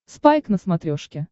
спайк на смотрешке